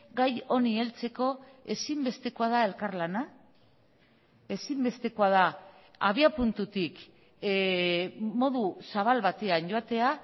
gai honi heltzeko ezinbestekoa da elkarlana ezinbestekoa da abiapuntutik modu zabal batean joatea